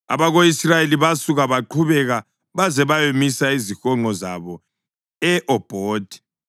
Abako-Israyeli basuka baqhubeka baze bayamisa izihonqo zabo e-Obhothi.